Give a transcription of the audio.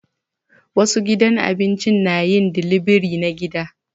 Wasu gidan abinci na yin dilibiri na gida